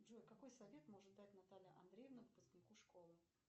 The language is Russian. джой какой совет может дать наталья андреевна выпускнику школы